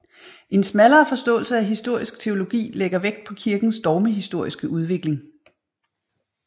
En smallere forståelse af historisk teologi lægger vægt på kirkens dogmehistoriske udvikling